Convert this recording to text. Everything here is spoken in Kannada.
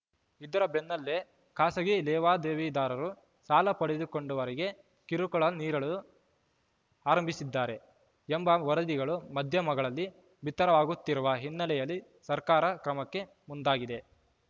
ಇದರ ಬೆನ್ನಲ್ಲೇ ಖಾಸಗಿ ಲೇವಾದೇವಿದಾರರು ಸಾಲ ಪಡೆದುಕೊಂಡವರಿಗೆ ಕಿರುಕುಳ ನೀಡಲು ಆರಂಭಿಸಿದ್ದಾರೆ ಎಂಬ ವರದಿಗಳು ಮಧ್ಯಮಗಳಲ್ಲಿ ಬಿತ್ತರವಾಗುತ್ತಿರುವ ಹಿನ್ನೆಲೆಯಲ್ಲಿ ಸರ್ಕಾರ ಕ್ರಮಕ್ಕೆ ಮುಂದಾಗಿದೆ